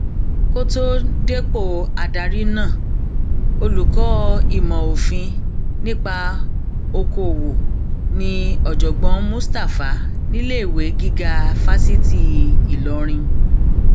kò tóó dépò adarí náà olùkọ ìmọ òfin nípa okòòwò ní ọjọgbọn mustapha níléèwé gíga fásitì ìlọrin